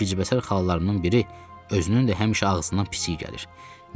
Bu gizbəsər xalalarımdan biri özünün də həmişə ağzından pis iy gəlir.